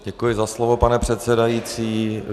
Děkuji za slovo, pane předsedající.